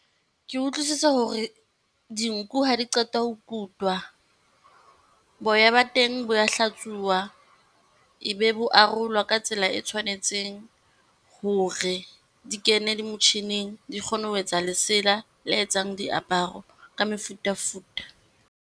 Ke utlwisisa hore dinku ha di qeta ho kutwa boya ba teng bo ya hlatsuwa, e be bo arolwa ka tsela e tshwanetseng hore di kene le motjhining. Di kgone ho etsa lesela le etsang diaparo ka mefutafuta.